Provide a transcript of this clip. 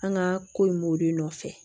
An ka ko in b'o de nɔfɛ